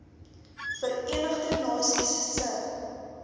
verenigde nasies se